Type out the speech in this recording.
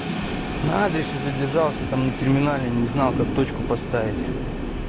на адресе задержался там на терминале не знал как точку поставить